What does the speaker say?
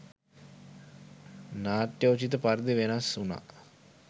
නාට්‍යෝචිත පරිදි වෙනස් වුණා